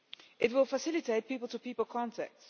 It will facilitate people to people contact.